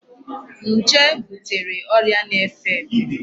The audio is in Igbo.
Njé butere ọrịa na-efe efe.